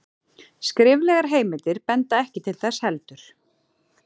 skriflegar heimildir benda ekki til þess heldur